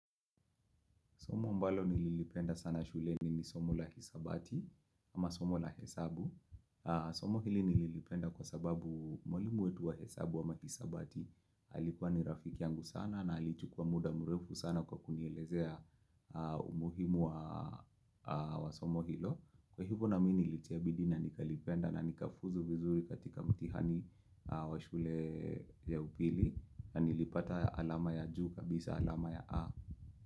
Ambalo nililipenda sana shuleni ni somo la hesabati ama somo la hesabu Somo hili nililipenda kwa sababu mwalimu wetu wa hesabu wa hesabati alikuwa ni rafiki yangu sana na alichuwa muda mrefu sana kwa kunielezea umuhimu wa somo hilo. Kwa hivo na mimi nilitia bidii na nikalipenda na nikafuzu vizuri katika mtihani wa shule ya upili na nilipata alama ya juu kabisa alama ya A.